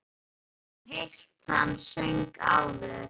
Við höfum nú heyrt þann söng áður.